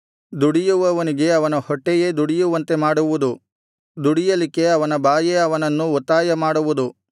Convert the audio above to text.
ದುಡಿಯುವವನಿಗೆ ಅವನ ಹೊಟ್ಟೆಯೇ ದುಡಿಯುವಂತೆ ಮಾಡುವುದು ದುಡಿಯಲಿಕ್ಕೆ ಅವನ ಬಾಯೇ ಅವನನ್ನು ಒತ್ತಾಯ ಮಾಡುವುದು